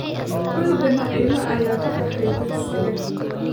Canuga Naima ayaa ka baxay dugsiga